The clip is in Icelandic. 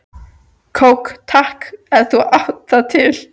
Kók takk, ef þú átt það til!